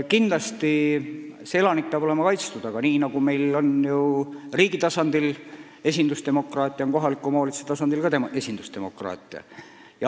Kindlasti peab elanik olema kaitstud, aga nii nagu meil on riigi tasandil esindusdemokraatia, on meil ka kohaliku omavalitsuse tasandil esindusdemokraatia.